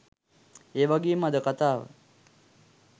ඒවගේම අද කතාව